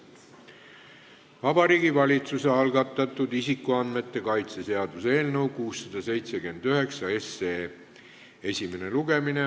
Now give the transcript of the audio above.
Vabariigi Valitsuse algatatud isikuandmete kaitse seaduse eelnõu 679 esimene lugemine.